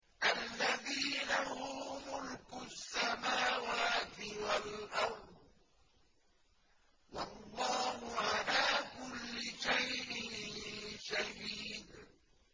الَّذِي لَهُ مُلْكُ السَّمَاوَاتِ وَالْأَرْضِ ۚ وَاللَّهُ عَلَىٰ كُلِّ شَيْءٍ شَهِيدٌ